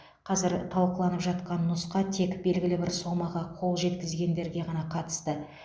қазір талқыланып жатқан нұсқа тек белгілі бір сомаға қол жеткізгендерге ғана қатысты